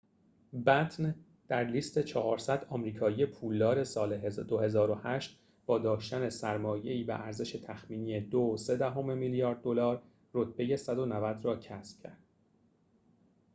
بَتن در لیست ۴۰۰ آمریکایی پولدار سال ۲۰۰۸ با داشتن سرمایه‌ای به ارزش تخمینی ۲.۳ میلیارد دلار رتبه ۱۹۰ را کسب کرد